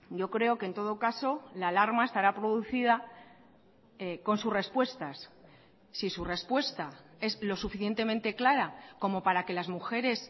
yo creo que en todo caso la alarma estará producida con sus respuestas si su respuesta es lo suficientemente clara como para que las mujeres